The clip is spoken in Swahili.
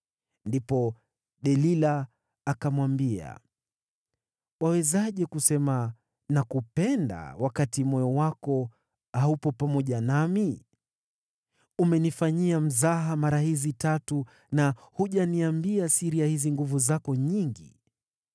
Ndipo Delila akamwambia, “Wawezaje kusema, ‘Nakupenda,’ wakati moyo wako haupo pamoja nami? Umenifanyia mzaha mara hizi tatu na hujaniambia siri ya hizi nguvu zako nyingi.”